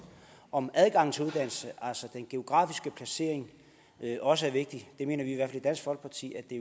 om adgangen til uddannelse altså den geografiske placering også er vigtig vi mener i hvert fald i dansk folkeparti at det